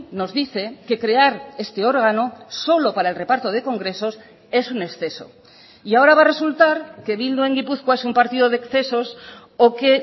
nos dice que crear este órgano solo para el reparto de congresos es un exceso y ahora va a resultar que bildu en gipuzkoa es un partido de excesos o que